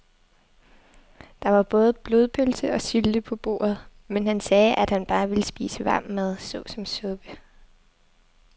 Der var både blodpølse og sylte på bordet, men han sagde, at han bare ville spise varm mad såsom suppe.